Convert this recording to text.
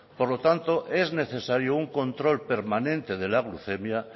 por lo tanto es necesario un control permanente de la glucemia